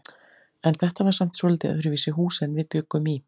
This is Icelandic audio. En þetta var samt svolítið öðruvísi hús en við bjuggum í.